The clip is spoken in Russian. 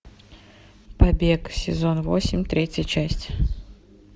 побег сезон восемь третья часть